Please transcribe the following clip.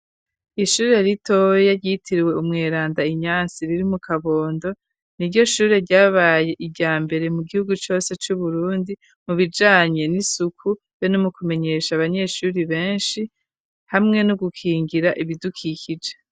Ishuri ritoya ryitirwe Umweranda Inyansi riri mu Kabondo ni ryo shure ryabaye irya mbere mu gihugu cyose cu Burundi mu bijanye n'isuku be no ku mu kumenyesha abanyeshuri benshi hamwe no gukingira ibidukikije.